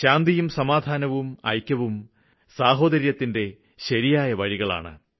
ശാന്തിയും സമാധാനവും ഐക്യവും സാഹോദര്യത്തിന്റെ ശരിയായ വഴികളാണ്